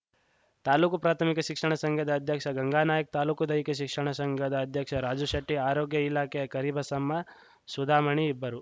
ತಾಲೂಕು ಪ್ರಾಥಮಿಕ ಶಿಕ್ಷಣ ಸಂಘದ ಅಧ್ಯಕ್ಷ ಗಂಗಾ ನಾಯ್ಕ ತಾಲೂಕು ದೈಹಿಕ ಶಿಕ್ಷಣ ಸಂಘದ ಅಧ್ಯಕ್ಷ ರಾಜು ಶೆಟ್ಟಿ ಆರೋಗ್ಯ ಇಲಾಖೆಯ ಕರಿಬಸಮ್ಮ ಸುಧಾಮಣಿ ಇಬ್ಬರು